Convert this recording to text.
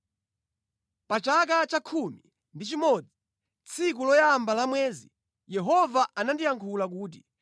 Pa chaka cha khumi ndi chimodzi, tsiku loyamba la mwezi, Yehova anandiyankhula kuti: